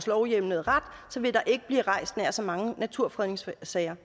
lovhjemlede ret vil der ikke blive rejst nær så mange naturfredningssager